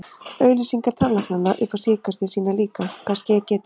Auglýsingar tannlæknanna upp á síðkastið sýna líka, hvað skeð getur.